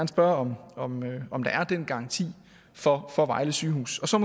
spørge om om der er den garanti for for vejle sygehus og så